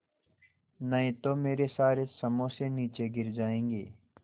नहीं तो मेरे सारे समोसे नीचे गिर जायेंगे